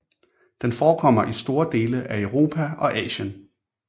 Den forekommer i store dele af Europa og Asien